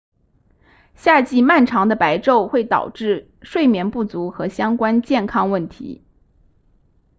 夏季漫长的白昼会导致睡眠不足和相关健康问题